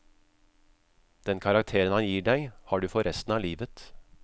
Den karakteren han gir deg, har du for resten av livet.